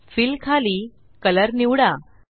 fill खाली colour निवडा